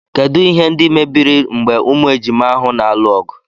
Kedụ ihe ndị mebiri mgbe ụmụ ejima ahụ na-alụ ọgụ.